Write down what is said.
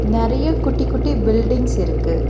நெறைய குட்டி குட்டி பில்டிங்ஸ் இருக்கு.